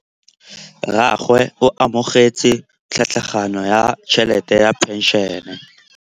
Rragwe o amogetse tlhatlhaganyô ya tšhelête ya phenšene.